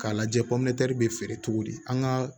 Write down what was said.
K'a lajɛ bɛ feere cogo di an ka